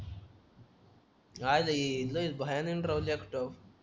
काय रे लयच भयानं राहुल्यात तो